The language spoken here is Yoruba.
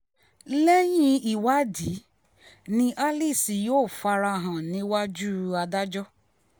lẹ́yìn ìwádìí ni alice yóò fara hàn níwájú adájọ́